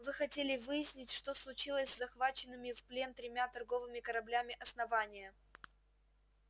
вы хотели выяснить что случилось с захваченными в плен тремя торговыми кораблями основания